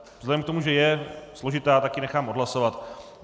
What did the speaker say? Vzhledem k tomu, že je složitá, tak ji nechám odhlasovat.